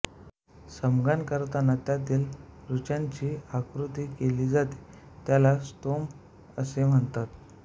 सामगान करताना त्यातील ऋचांची आवृत्ती केली जाते त्याला स्तोम असे म्हणतात